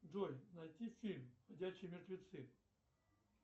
джой найти фильм ходячие мертвецы